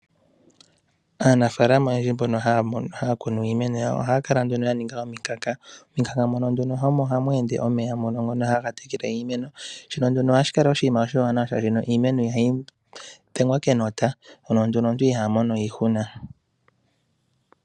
Aanafalama oyendji mbono haya kunu iimeno yawo ohaya kala nduno ya ninga omikanka. Momikanka mono hamu endele omeya ngono haga tekele iimeno shono nduno ohashi kala oshinima oshiwanawa shaashi iimeno ihayi dhengwa kenota nomuntu iha mono iihuna.